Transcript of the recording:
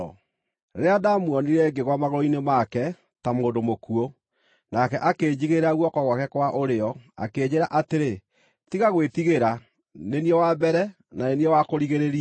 Rĩrĩa ndaamuonire ngĩgwa magũrũ-inĩ make ta mũndũ mũkuũ. Nake akĩnjigĩrĩra guoko gwake kwa ũrĩo, akĩnjĩĩra atĩrĩ, “Tiga gwĩtigĩra. Nĩ niĩ wa Mbere, na ni niĩ wa Kũrigĩrĩria.